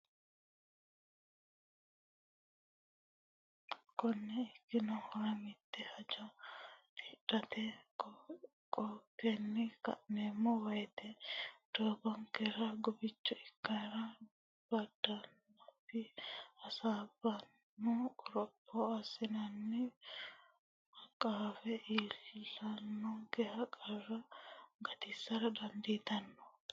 Konne ikkinohura mitte hajo tidhate qaenkenni ka neemmo woyite doogonkera guficho ikkannore badatenni hasiissanno qoropho assinanni qaafa iillannonke qarra gatissara dandiitanno.